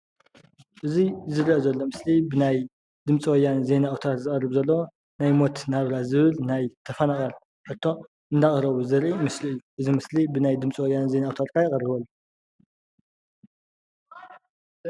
እዚ ዝረአ ዘሎ ምስሊ ብናይ ድምፂ ወያነ ዜና ኣውታር ዝቐርብ ዘሎ ናይ ሞት ናብራ ዝብል ናይ ተፈናቐል ሕቶ እንዳቕረቡ ዘርኢ ምስሊ እዩ፡፡ እዚ ምስሊ ብናይ ድምፂ ወያነ ዜና ኣውታር ከኣ ይቐርብ ኣሎ፡፡